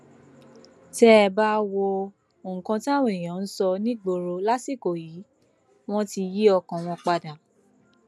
tẹ ẹ bá wo nǹkan táwọn èèyàn ń sọ nígboro lásìkò yìí wọn ti yí ọkàn wọn padà